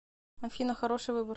афина хороший выбор